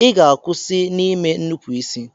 Ị ga-akwụsị n'ime nnupụisi!